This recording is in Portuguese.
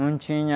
Não tinha